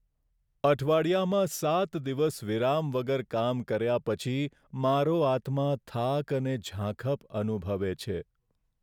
અઠવાડિયામાં સાત દિવસ વિરામ વગર કામ કર્યા પછી મારો આત્મા થાક અને ઝાંખપ અનુભવે છે.